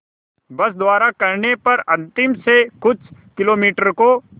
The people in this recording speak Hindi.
बस द्वारा करने पर अंतिम से कुछ किलोमीटर को